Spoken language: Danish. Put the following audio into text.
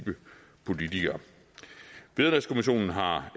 politikere vederlagskommissionen har